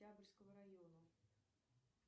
октябрьского района